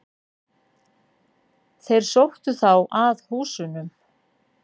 Þeir sóttu þá að húsunum.